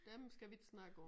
Dem skal vi ikke snakke om